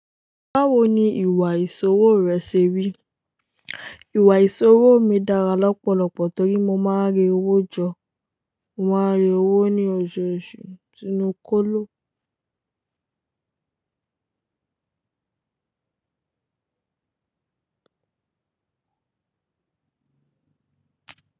Báwo ni ìwà ìṣòwò rẹ ṣe rí? Ìwà ìṣòwò mi dára lọ́pọ̀lọpọ̀ torí mo máa ń re owó jọ. Mo máa ń re owó ní oṣooṣù sinu kólo.